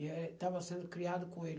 E é, eu estava sendo criado com ele.